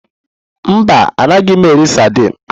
Mba, anaghị m eri saidini.